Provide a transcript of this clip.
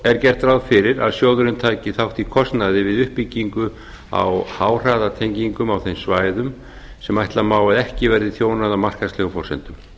er gert ráð fyrir að sjóðurinn taki þátt í kostnaði við uppbyggingu á háhraðatengingum þeim svæðum sem ætla má að ekki verði þjónað á markaðslegum forsendum